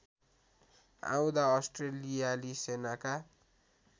आउँदा अस्ट्रेलियाली सेनाका